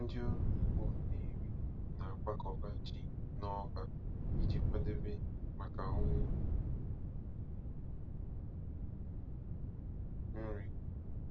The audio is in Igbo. Ndị ọrụ ugbo Nnewi na-akwakọba ji n'ọba iji kwadebe maka ụnwụ nri.